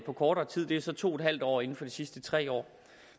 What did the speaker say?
på kortere tid det er så to en halv år inden for de sidste tre år